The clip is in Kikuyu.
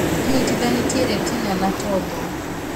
Ĩnyitithanĩtie retina na tombo